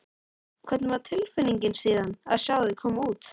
Hvernig var tilfinningin síðan að sjá þau koma út?